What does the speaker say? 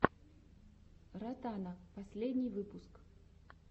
ротана последний выпуск